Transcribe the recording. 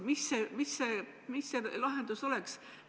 Mis see lahendus oleks?